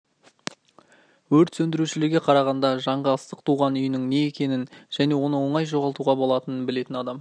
өрт сөндірушілерге қарағанда жанға ыстық туған үйінің не екенің және оны оңай жоғалтуға болатының білетін адам